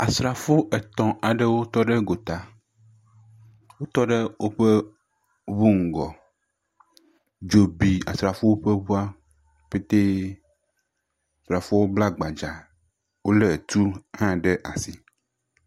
Asrafo etɔ̃ aɖewo tɔ ɖe gota. Wotɔ ɖe woƒe ŋu ŋgɔ. Dzo bi Asrafowoƒe ŋua ƒetee. Srafowo bla gbadzaa lé tuwo ɖe asi